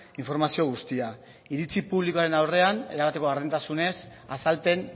informazio guztia iritsi publikoaren aurrean erabateko berdintasunez azalpen